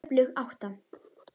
Öflug átta.